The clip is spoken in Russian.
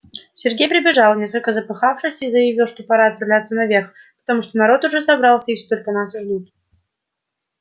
сергей прибежал несколько запыхавшись и заявил что пора отправляться наверх потому что народ уже собрался и все только нас и ждут